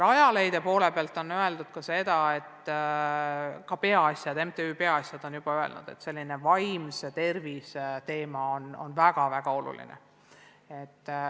Rajaleidja poole pealt on öeldud – ka MTÜ Peaasjad on öelnud – ka seda, et vaimse tervise teema on väga-väga oluline.